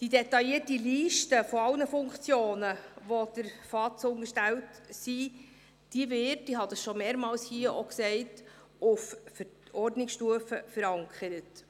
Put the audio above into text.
Die detaillierte Liste aller Funktionen, welche der Vertrauensarbeitszeit unterstellt sein werden, wird – wie ich hier bereits mehrfach erwähnt habe – auf Stufe Verordnung verankert.